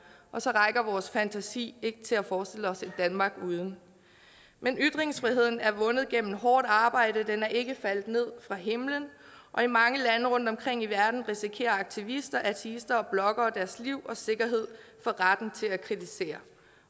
og så rækker vores fantasi ikke til at forestille os et danmark uden men ytringsfriheden er vundet gennem hårdt arbejde den er ikke faldet ned fra himlen og i mange lande rundtomkring i verden risikerer aktivister ateister og bloggere deres liv og sikkerhed for retten til at kritisere